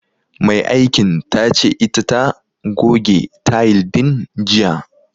Mai aikin tace ita ta goge tayil din jiya.